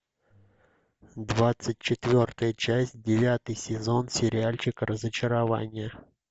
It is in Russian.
двадцать четвертая часть девятый сезон сериальчик разочарование